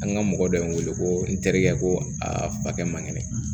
An ka mɔgɔ dɔ ye n wele ko n terikɛ ko akɛ man kɛnɛ